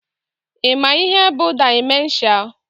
Ị ma ihe bụ dimenshia?